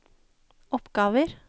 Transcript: oppgaver